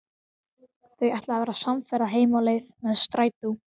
Þau ætla að verða samferða heim á leið með strætó.